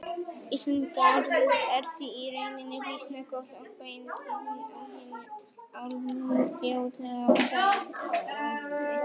Íslenska orðið er því í rauninni býsna góð og bein þýðing á hinu alþjóðlega fræðiorði.